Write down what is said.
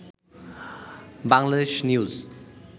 Bangladesh news